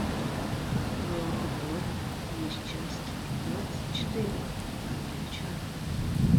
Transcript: в твоем каталоге есть часть двадцать четыре ангелы чарли